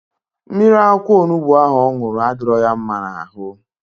Mmiri akwụkwọ onubu ahụ ọ ṅụrụ adịrọ ya mma n'ahụ.